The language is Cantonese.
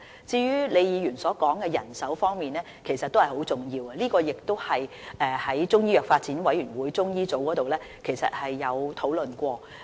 至於李議員所說的人手事宜，其實也很重要，這亦曾在中醫中藥發展委員會轄下中醫組討論。